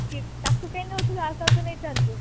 ତାକୁ କାଇଁ ନଉଥିଲୁ ଆଉ କାହାକୁ ନେଇ ଥାନ୍ତୁ